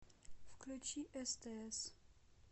включи стс